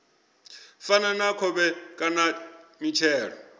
fana na khovhe kana mitshelo